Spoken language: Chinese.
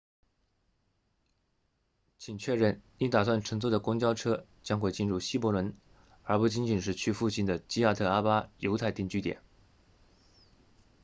请确认你打算乘坐的公交车将会进入希伯伦而不仅仅是去附近的基亚特阿巴 kiryat arba 犹太定居点